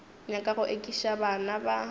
nyaka go ekiša bana ba